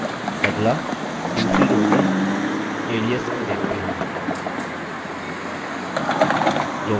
अगला दूसरी row में alias को देखते हैं